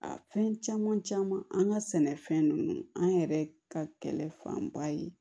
A fɛn caman caman an ka sɛnɛfɛn ninnu an yɛrɛ ka kɛlɛ fanba ye